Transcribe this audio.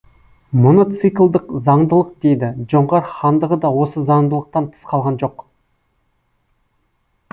мұны циклдық заңдылық дейді жоңғар хандығы да осы заңдылықтан тыс қалған жоқ